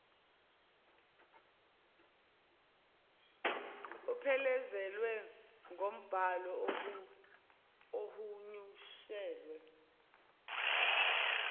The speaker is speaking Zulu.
uphelezelwa ngumbhalo ohunyushelwe